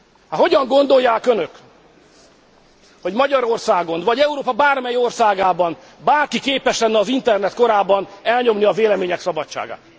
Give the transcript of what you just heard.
Hát hogyan gondolják önök, hogy Magyarországon vagy Európa bármely országában bárki képes lenne az internet korában elnyomni a vélemények szabadságát?